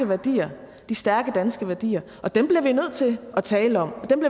værdier de stærke danske værdier og dem bliver vi nødt til at tale om og dem